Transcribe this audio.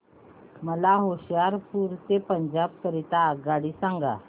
मला होशियारपुर ते पंजाब करीता आगगाडी सांगा